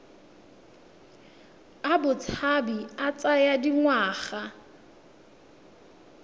a botshabi a tsaya dingwaga